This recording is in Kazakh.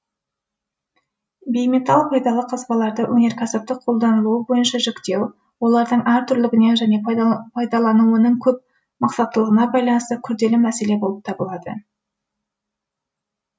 бейметалл пайдалы қазбаларды өнеркәсіптік қолданылуы бойынша жіктеу олардың әр түрлілігіне және пайдаланылуының көп мақсаттылығына байланысты күрделі мәселе болып табылады